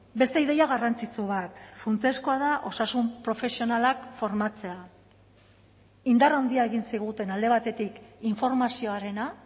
beste ideia garrantzitsu bat funtsezkoa da osasun profesionalak formatzea indar handia egin ziguten alde batetik informazioarena